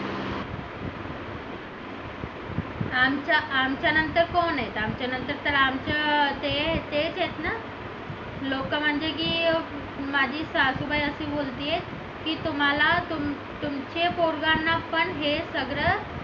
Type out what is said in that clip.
आमच्या आमच्या नंतर कोण आहेत आमच्या नंतर तेच आहेत ना लोक म्हणते की माझी सासुबाई अशी बोलते की तुम्हाला तुमचे पोरांना पण हे सगळं